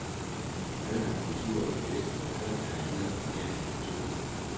Køn er kultur, javist, men køn er andet og mere end kultur.